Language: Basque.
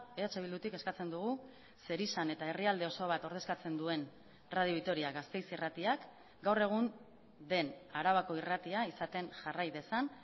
eh bildutik eskatzen dugu zerizan eta herrialde oso bat ordezkatzen duen radio vitoria gasteiz irratiak gaur egun den arabako irratia izaten jarrai dezan